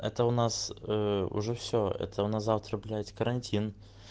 это у нас ээ уже все это у нас завтра блять карантин